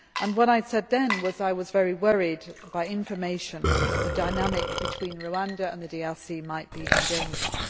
What I said then was that I was very worried by information that the dynamic between Rwanda and the DRC might be endangered.